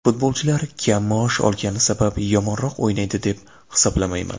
Futbolchilar kam maosh olgani sabab yomonroq o‘ynaydi deb hisoblamayman.